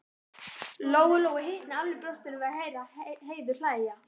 Lóu-Lóu hitnaði alveg í brjóstinu við að heyra Heiðu hlæja.